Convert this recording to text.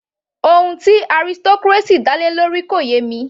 Ohun tí aristocracy dá lé lórí kò yé mi